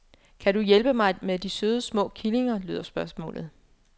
Kan du hjælpe mig med de søde små killinger, lyder spørgsmålet.